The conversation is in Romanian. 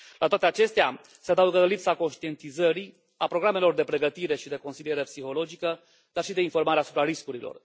La toate acestea se adaugă lipsa conștientizării, a programelor de pregătire și de consiliere psihologică, dar și de informare asupra riscurilor.